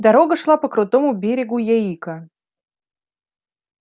дорога шла по крутому берегу яика